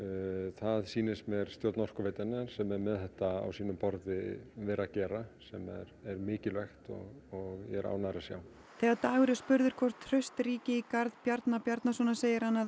það sýnist mér stjórn Orkuveitunnar sem er með þetta á sínu borði vera að gera sem er mikilvægt og ég er ánægður að sjá þegar Dagur er spurður hvort traust ríki í garð Bjarna Bjarnasonar segir hann að